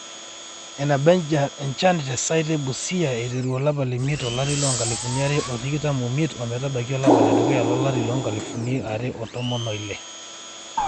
eneba enchan te site e Busia aiteru olapa leimiet to lari loo nkalifuni are o tikitam oimiet o metabaiki olapa le dukuya lo lari loo nkalifuni are o tomon oile